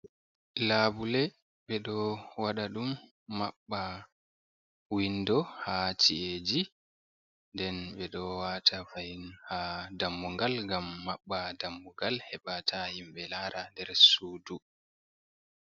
Labule ɓe ɗo waɗa ɗum maɓɓa windo ha ci’eji, den ɓe ɗo wata fahin ha dammugal ngam maɓɓa dammugal heɓa ta himɓɓe lara nder sudu.